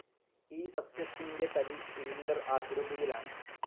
ഈ സസ്സ്യത്തിൻ്റെ തടി സിലിണ്ടർ ആകൃതിയിലാണ്.